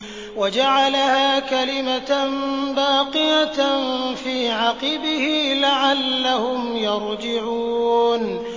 وَجَعَلَهَا كَلِمَةً بَاقِيَةً فِي عَقِبِهِ لَعَلَّهُمْ يَرْجِعُونَ